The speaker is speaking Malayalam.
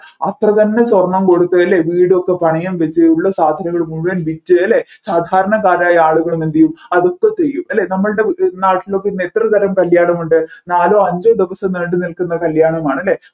അത്ര തന്നെ സ്വർണ്ണം കൊടുത്തു അല്ലെ വീടൊക്കെ പണയം വച്ചു ഉള്ള സാധനങ്ങൾ മുഴുവൻ വിറ്റു അല്ലെ സാധാരണക്കാരായ ആളുകളും എന്തുചെയ്യും അതൊക്കെ ചെയ്യും അല്ലെ നമ്മൾടെ നാട്ടിലൊക്കെ ഇന്ന് എത്ര തരം കല്യാണം ഉണ്ട് നാലോ അഞ്ചോ ദിവസം നീണ്ടുനിൽക്കുന്ന കല്യാണമാണ് അല്ലെ